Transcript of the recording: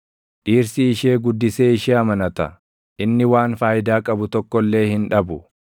Dhirsi ishee guddisee ishee amanata; inni waan faayidaa qabu tokko illee hin dhabu.